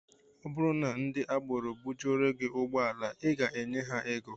Ọ bụrụ na ndị agbero bujuoro gị ụgbọala, I ga-enye ha ego